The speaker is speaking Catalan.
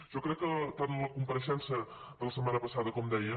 jo crec que tant la compareixença de la setmana passada com deia